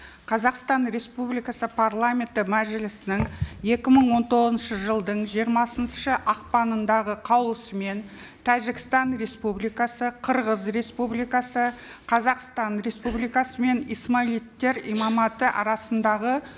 қазақстан республикасы парламенті мәжілісінің екі мың он тоғызыншы жылдың жиырмасыншы ақпанындағы қаулысымен тәжікстан республикасы қырғыз республикасы қазақстан республикасы мен исмаилиттер имаматы арасындағы